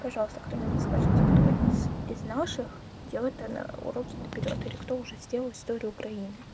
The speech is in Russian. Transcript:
пожалуйста кто нибудь скажите кто из из наших делает уроки наперёд или кто уже сделал историю украины